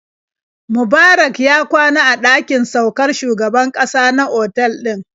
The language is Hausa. Mubarak ya kwana a ɗakin saukar shugaban ƙasa na otal ɗin.